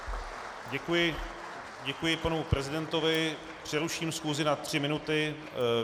Děkuji panu prezidentovi, přeruším schůzi na tři minuty.